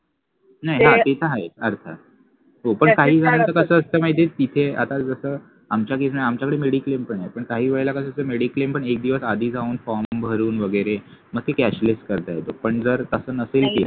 नाही हा ते तर आहे काही जणांचं कस असत माहित आहे तिथे आता जस आमच्याकडे mediclaim पण आहे पण काही वेळेला कस असत mediclaim पण एक दिवस आधी जाऊन form भरून वगैरे मग ते cashless करता येत पण जर तस नसेल तर